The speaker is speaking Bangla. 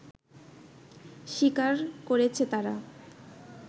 স্বীকার করেছে তারা